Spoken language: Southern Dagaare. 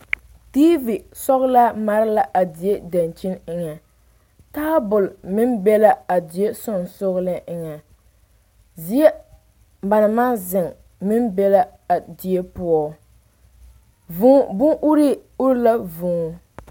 Diivi sɔgelaa mare la a die dankyini eŋa taabol meŋ be la a die sonsoŋeleŋ eŋa zie ba naŋ maŋ zeŋ meŋ be la a die poɔ vuu bon uree uri la.vuu